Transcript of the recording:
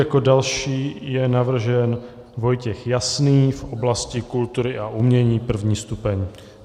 Jako další je navržen Vojtěch Jasný v oblasti kultury a umění, 1. stupeň.